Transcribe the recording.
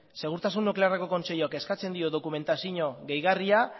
segurtasun nuklearreko kontseiluak eskatzen dio dokumentazio gehigarria